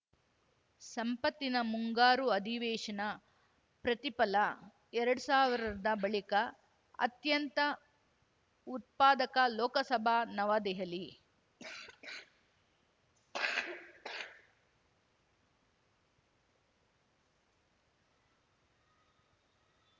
ಸಂಪ್ಪತ್ತಿನ ಮುಂಗಾರು ಅಧಿವೇಶನ ಪ್ರತಿಫಲ ಎರಡ್ ಸಾವಿರ್ದಾ ಬಳಿಕ ಅತ್ಯಂತ ಉತ್ಪಾದಕ ಲೋಕಸಭ ನವದೆಹಲಿ